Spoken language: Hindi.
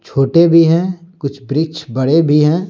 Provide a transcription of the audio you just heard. छोटे भी हैं कुछ वृक्ष बड़े भी हैं।